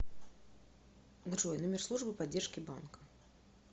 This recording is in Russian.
джой номер службы поддержки банка